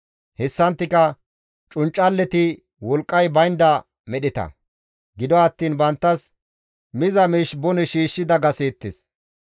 Hessanttika cunccalleti wolqqay baynda medheta; gido attiin banttas miza miish bone shiishshi dagaseettes.